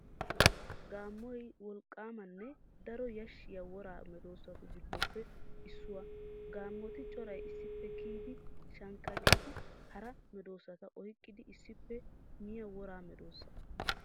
Gaammoy wolqqaamanne daro yashshiya woraa medoosatu giddoppe issuwaa. Gaammoti coray issippe kiyidi shankkatidi hara medoosata oyqqidi issippe miya woraa medoosa.